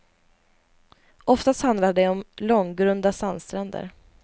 Oftast handlar det om långgrunda sandstränder.